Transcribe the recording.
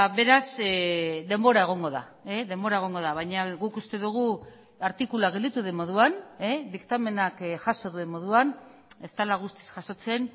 beraz denbora egongo da denbora egongo da baina guk uste dugu artikulua gelditu den moduan diktamenak jaso duen moduan ez dela guztiz jasotzen